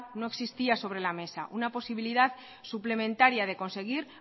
no existía sobre la mesa una posibilidad suplementaria de conseguir